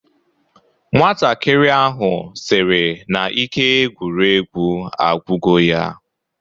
Nwatakịrị ahụ sịrị na ike egwuregwu agwugo ya